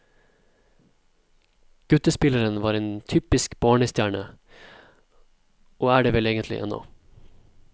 Guttespilleren var en typisk barnestjerne, og er det vel egentlig ennå.